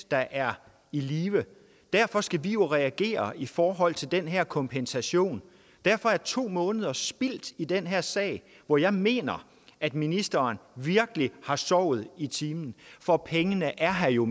der er i live derfor skal vi jo reagere i forhold til den her kompensation derfor er to måneder spildt i den her sag hvor jeg mener at ministeren virkelig har sovet i timen for pengene er her jo